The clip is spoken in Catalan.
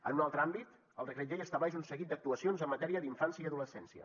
en un altre àmbit el decret llei estableix un seguit d’actuacions en matèria d’infància i adolescència